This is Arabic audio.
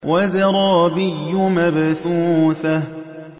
وَزَرَابِيُّ مَبْثُوثَةٌ